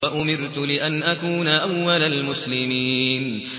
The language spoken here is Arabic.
وَأُمِرْتُ لِأَنْ أَكُونَ أَوَّلَ الْمُسْلِمِينَ